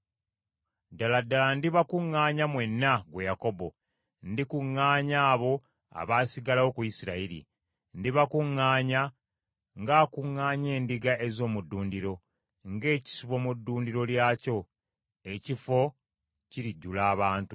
“Ddala ddala ndibakuŋŋaanya mwenna, ggwe Yakobo; ndikuŋŋaanya abo abaasigalawo ku Isirayiri. Ndibakuŋŋaanya ng’akuŋŋaanya endiga ez’omu ddundiro, ng’ekisibo mu ddundiro lyakyo, ekifo kirijjula abantu.